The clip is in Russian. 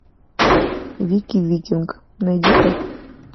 вики викинг найди ка